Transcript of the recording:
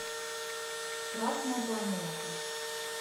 красная планета